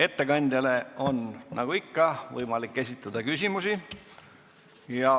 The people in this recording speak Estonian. Ettekandjale on nagu ikka võimalik esitada küsimusi.